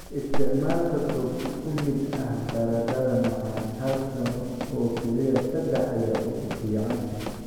Isticmaalka goob isku mid ah baradhada macaan 1 sano oo keliya 3 ayaa ugu fiican.